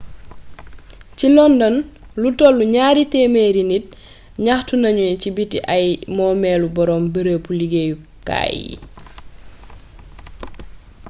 ci london lu tollu gnaari témééri nit gnaxtu nagnu ci biti ay moomélu borom beereebu liggéyu kaay yi